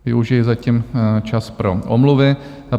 Využiji zatím čas pro omluvy.